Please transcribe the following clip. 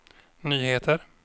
nyheter